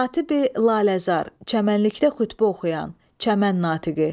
Xatibi Laləzar, çəmənlikdə xütbə oxuyan, çəmən natiqi.